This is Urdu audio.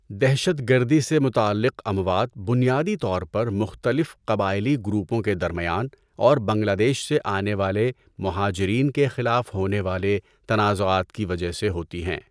دہشت گردی سے متعلق اموات بنیادی طور پر مختلف قبائلی گروپوں کے درمیان اور بنگلہ دیش سے آنے والے مہاجرین کے خلاف ہونے والے تنازعات کی وجہ سے ہوتی ہیں۔